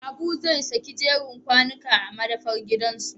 Habu zai sake jeren kwanuka a madafar gidansu